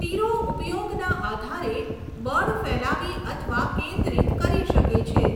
તીરો ઉપયોગના આધારે બળ ફેલાવી અથવા કેન્દ્રિત કરી શકે છે.